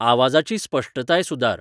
आवाजाची स्पश्टताय सुदार